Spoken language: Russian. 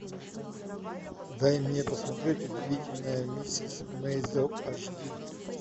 дай мне посмотреть удивительная миссис мейзел аш ди